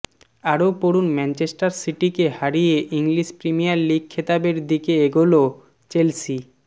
আরও পড়ুন ম্যাঞ্চেষ্টার সিটিকে হারিয়ে ইংলিশ প্রিমিয়ার লিগ খেতাবের দিকে এগোলো চেলসি